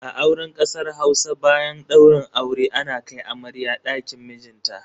A auren kasar Hausa, bayan daurin aure ana kai amarya dakin mijinta.